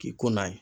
K'i ko n'a ye